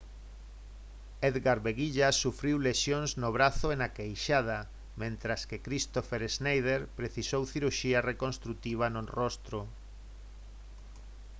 edgar veguilla sufriu lesións no brazo e na queixada mentres que kristoffer schneider precisou cirurxía reconstrutiva no rostro